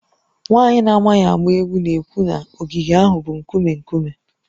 Nwaanyị na-amaghị agba egwu na-ekwu na ogige ahụ bụ nkume nkume